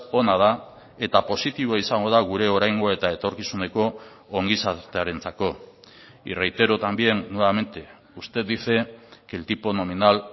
ona da eta positiboa izango da gure oraingo eta etorkizuneko ongizatearentzako y reitero también nuevamente usted dice que el tipo nominal